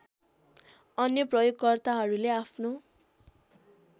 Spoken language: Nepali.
अन्य प्रयोगकर्ताहरूले आफ्नो